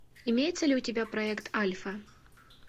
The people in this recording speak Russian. имеется ли у тебя проект альфа